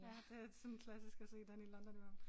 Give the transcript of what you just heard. Ja det sådan klassisk at se den i London i hvert fald